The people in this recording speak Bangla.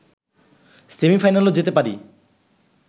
সেমি-ফাইনালেও যেতে পারি